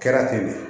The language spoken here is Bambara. Kɛra ten de